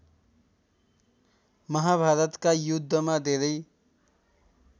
महाभारतका युद्धमा धेरै